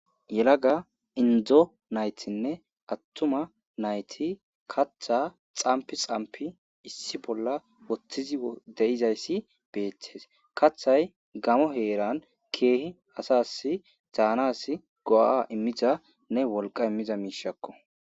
Yelaga indzo naytinne attuma nayti kaththa xamp xampi issi bolla wotthizi deizayssi beettees kathay gamo heeran keehi asas zaanas go7a immizanne wolqa immiza miishakko.